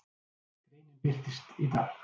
Greinin birtist í dag